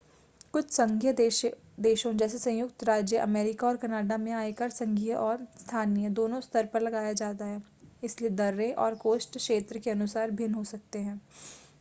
कुछ संघीय देशों जैसे संयुक्त राज्य अमेरिका और कनाडा में आयकर संघीय और स्थानीय दोनों स्तर पर लगाया जाता है इसलिए दरें और कोष्ठ क्षेत्र के अनुसार भिन्न हो सकते हैं